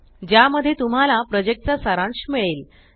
ज्या मध्ये तुम्हाला प्रोजेक्ट चा सारांश मिळेल